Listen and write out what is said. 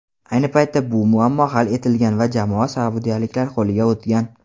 Ayni paytda bu muammo hal etilgan va jamoa saudiyaliklar qo‘liga o‘tgan.